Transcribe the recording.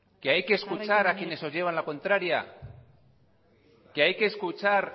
que hay que escuchar a quienes os llevan la contraria que hay que escuchar